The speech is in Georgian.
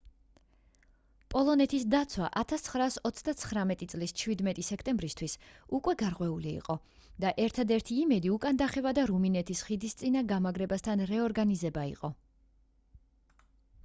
პოლონეთის დაცვა 1939 წლის 17 სექტემბრისთვის უკვე გარღვეული იყო და ერთადერთი იმედი უკან დახევა და რუმინეთის ხიდისწინა გამაგრებასთან რეორგანიზება იყო